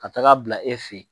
Ka taga bila e fɛ ye.